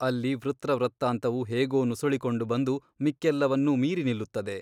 ಅಲ್ಲಿ ವೃತ್ರ ವೃತ್ತಾಂತವು ಹೇಗೋ ನುಸುಳಿಕೊಂಡು ಬಂದು ಮಿಕ್ಕೆಲ್ಲವನ್ನೂ ಮೀರಿ ನಿಲ್ಲುತ್ತದೆ.